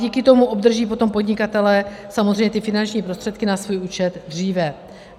Díky tomu obdrží potom podnikatelé samozřejmě ty finanční prostředky na svůj účet dříve.